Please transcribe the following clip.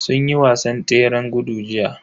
Sun yi wasan tseren gudu jiya.